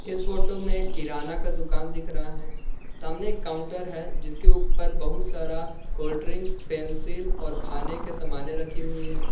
इस फोटो में किराना का दुकान दिख रहा है सामने एक काउंटर है जिसके ऊपर बहुत सारा कोल्ड ड्रिंक पेंसिल और खाने के सामानें रखी हुई हैं।